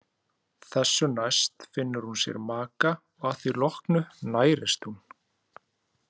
Þessu næst finnur hún sér maka og að því loknu nærist hún.